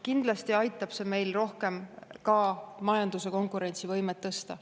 Kindlasti aitab see meil rohkem ka majanduse konkurentsivõimet tõsta.